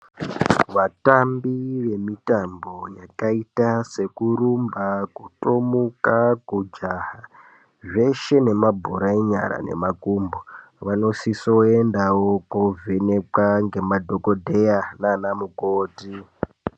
Vatambi vemitambo yakaita sekurumba, kutomuka, kujaha zveshe nemabhora emanyara nemakumbo vanosisoendawo kovhenekwa ngemadhokodheya nanamukoti.